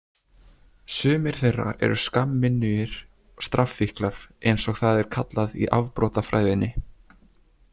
Sumir þeirra eru skammminnugir strafffíklar eins og það er kallað í afbrotafræðinni.